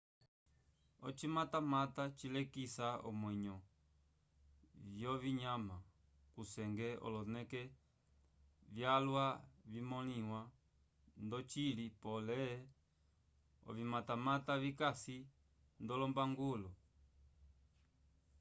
ocimatamata cilekisa omwenyo vyovinyama kusenge oloneke vyalwa vimõliwa ndocili pole ovimatamata vikasi ndolombangulo